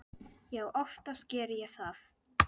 Já, oftast geri ég það.